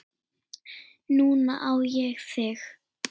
Núna á ég þig.